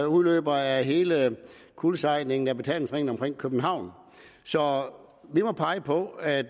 udløber af hele kuldsejlingen af betalingsringen omkring københavn så vi må pege på at